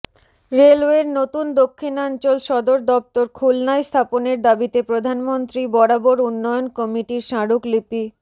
রেলওয়ের নতুন দক্ষিণাঞ্চল সদর দপ্তর খুলনায় স্থাপনের দাবিতে প্রধানমন্ত্রী বরাবর উন্নয়ন কমিটির স্মারকলিপি